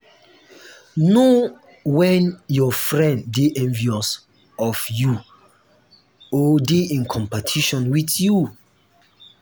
know when your friend de envious of you or de in competition with you